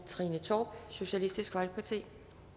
trine torp socialistisk folkeparti